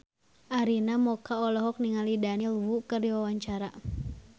Arina Mocca olohok ningali Daniel Wu keur diwawancara